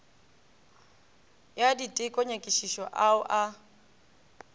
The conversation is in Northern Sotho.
ya diteko nyakišišo ao a